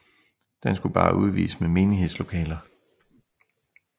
Den skulle bare udvides med menighedslokaler